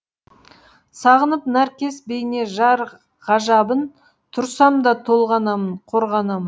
сағынып нәркес бейне жар ғажабын тұрсам да толғанамын қорғанамын